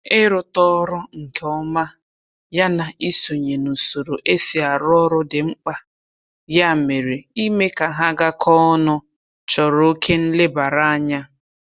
Ịrụta ọrụ nke ọma ya na isonye n'usoro e si arụ ọrụ dị mkpa, ya mere ime ka ha gakọọ ọnụ chọrọ oke nlebaranya